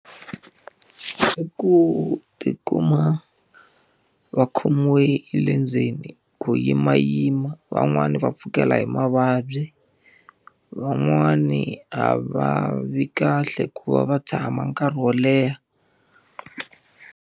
I ku ti kuma va khomiwe hi le ndzeni,, ku yimayima van'wani va pfukela hi mavabyi. Van'wani a va vi kahle hikuva va tshama nkarhi wo leha.